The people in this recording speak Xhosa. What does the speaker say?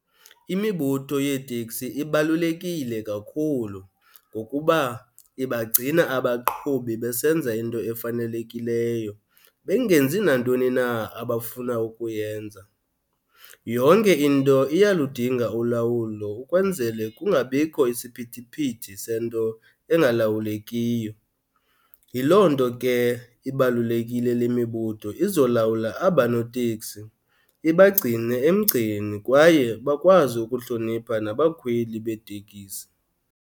Imibutho yeeteksi ibalulekile kakhulu ngokuba ibagcina abaqhubi besenza into efanelekileyo bengenzi nantoni na abafuna ukuyenza. Yonke into iyaludinga ulawulo ukwenzele kungabikho isiphithiphithi sento engalawulekiyo. Yiloo nto ke ibalulekile le mibutho izolawula aba noteksi ibagcine emgceni kwaye bakwazi ukuhlonipha nabakhweli beetekisi.